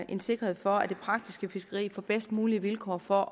en sikkerhed for at det praktiske fiskeri får bedst mulige vilkår for